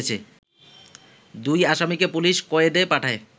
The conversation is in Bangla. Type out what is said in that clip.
দুই আসামিকে পুলিশ কয়েদে পাঠায়